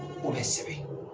O bɛ sɛbɛn.